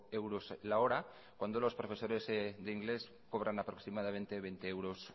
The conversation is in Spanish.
euros la hora cuando los profesores de inglés cobran aproximadamente veinte euros